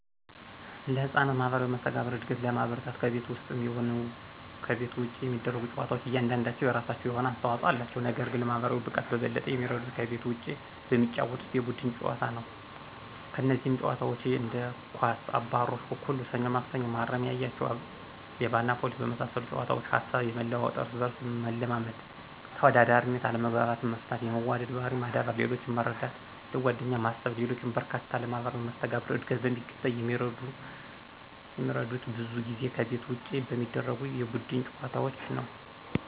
ለሕፃናት ማህበራዊ መስተጋብር እድገት ለማበረታታት ከቤት ውስጥም ይሁን ይሁን ከቤት ውጭ የሚደረጉ ጨዋታዎች እያንዳንዳቸው የራሳቸው የሆነ አስተዋጽኦ አላቸው። ነገር ግን ለማህበራዊ ብቃት በበለጠ የሚረዱት ከቤት ውጪ በሚጫወቱት የቡድን ጨዋታ ነው። እነዚህም ጨዋታዎች እንደ ኳስ፣ አባሮሽ፣ አኩኩሉ፣ ሰኞ ማክሰኞ፣ መሀረሜን ያያችሁ፣ ሌባና ፖሊስና በመሳሰሉት ጨዋታዎች ሀሳብ የመለዋወጥ፣ እርስ በርስ መለማመድ፣ ተወዳዳሪነት፣ አለመግባባትን መፍታት፣ የመዋደድ ባህሪን ማዳበር፣ ሌሎችን መረዳት፣ ለጓደኛ ማሰብና ሌሎችም በርካታ ለማህበራዊ መስተጋብር ዕድገት በሚገባ የሚረዱት ብዙ ጊዜ ከቤት ውጭ በሚደረጉ የቡድን ጨዋታዎች ነዉ።